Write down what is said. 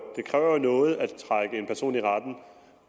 noget at trække en person i retten